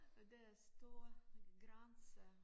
Og der er stor grænse